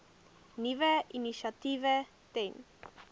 nuwe initiatiewe ten